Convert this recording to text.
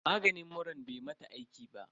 Maganin muran bai mata aiki ba.